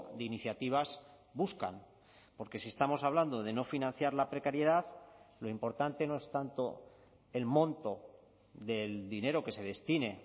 de iniciativas buscan porque si estamos hablando de no financiar la precariedad lo importante no es tanto el monto del dinero que se destine